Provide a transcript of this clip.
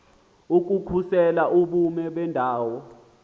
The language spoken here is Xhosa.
ukukhusela ubume bendawo